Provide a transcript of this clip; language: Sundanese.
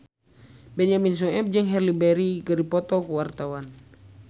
Benyamin Sueb jeung Halle Berry keur dipoto ku wartawan